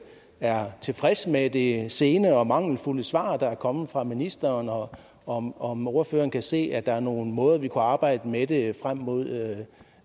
er tilfreds med det sene og mangelfulde svar der er kommet fra ministeren og om om ordføreren kan se at der er nogle måder vi kan arbejde med det her på frem mod